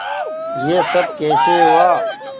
यह सब कैसे हुआ